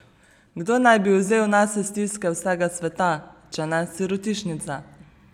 Kdo naj bi vzel nase stiske vsega sveta, če ne sirotišnica?